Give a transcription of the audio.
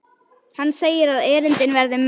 Hann segir að erindin verði mörg.